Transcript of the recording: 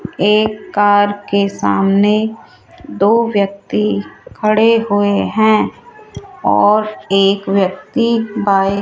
एक कार के सामने दो व्यक्ति खड़े हुए हैं और एक व्यक्ति बाएं --